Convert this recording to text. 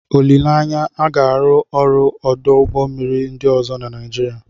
Olileanya, a ga-arụ ọrụ ọdụ ụgbọ mmiri ndị ọzọ na Nigeria.